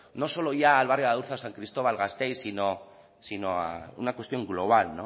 no solo ya al barrio de adurza san cristóbal gasteiz sino una cuestión global